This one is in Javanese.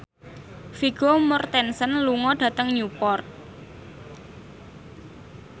Vigo Mortensen lunga dhateng Newport